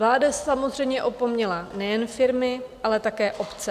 Vláda samozřejmě opomněla nejen firmy, ale také obce.